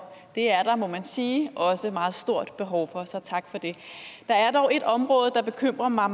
det er der må man sige også et meget stort behov for så tak for det der er dog et område der bekymrer mig